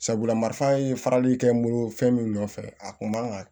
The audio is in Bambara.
Sabula marifa ye farali kɛ n bolo fɛn min nɔfɛ a kun man kan ka